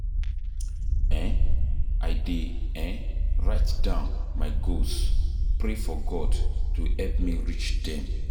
um I dey um write down my goals, pray for God to help me reach dem